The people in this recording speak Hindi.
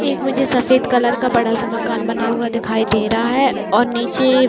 एक मुझे सफ़ेद कलर का बड़ा सा मकान बना हुआ दिखाई दे रहा है और नीचे --